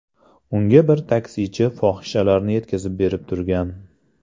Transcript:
Unga bir taksichi fohishalarni yetkazib berib turgan.